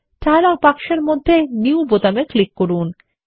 dialogue বক্সের মধ্যে new বোতামে ক্লিক করুন